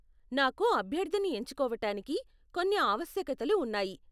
నాకు అభ్యర్ధిని ఎంచుకోవటానికి కొన్ని ఆవశ్యకతలు ఉన్నాయి.